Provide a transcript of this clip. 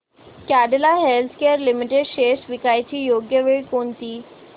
Cadila healthcare limited shares विकण्याची योग्य वेळ कोणती